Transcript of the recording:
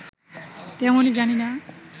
তেমনই জানি না